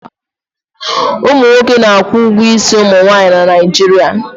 Ụmụ nwoke na-akwụ ụgwọ isi ụmụ nwaanyị na Naijiria.